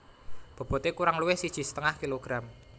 Bobote kurang luwih siji setengah kilogram